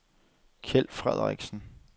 Kjeld Frederiksen